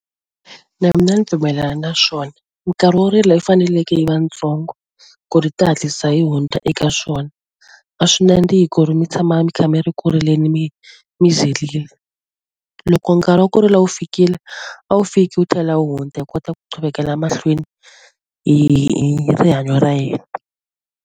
Na mina ni pfumelana na swona minkarhi wo rila yi faneleke yi va tsongo ku ri ta hatlisa yi hundza eka swona a swi nandzihi ku ri mi tshama mi kha mi ri ku rileni mi mi zirile loko nkarhi wa ku rila wu fikile a wu fiki wu tlhela wu hundza hi kota ku mahlweni hi rihanyo ra hina.